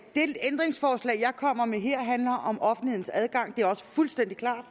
kommer med her handler om offentlighedens adgang det er også fuldstændig klart